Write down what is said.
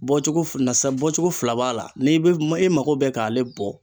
Bɔcogo f nasa bɔcogo fila b'a la, n'i be ma e mago be k'ale bɔ